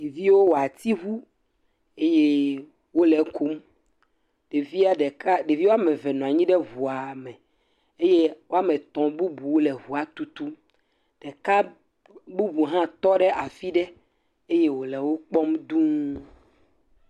Ɖeviwo wɔ ati ŋu eye wole ekum ɖevia ɖeka ɖeviwoame eve nɔ anyi ɖe eŋua me, eye woame etɔ̃ bubu le eŋua tutum, ɖeka bubu hã tɔ ɖe afi ɖe eye wole wo kpɔm dũu.